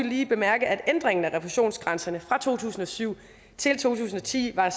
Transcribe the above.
lige bemærke at ændringen af refusionsgrænserne fra to tusind og syv til to tusind og ti var